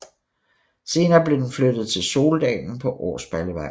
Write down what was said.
Senere blev den flyttet til Soldalen på Årsballevej